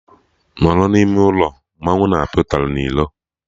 Nọrọ n'ime ụlọ! Mmanwụ na apịa ụtarị na ilo